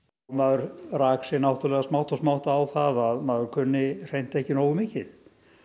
maður rak sig náttúrulega smátt og smátt á það að maður kunni hreint ekki nógu mikið